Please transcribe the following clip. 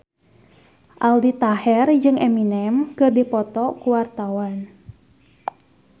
Aldi Taher jeung Eminem keur dipoto ku wartawan